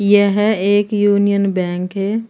यह एक union bank है।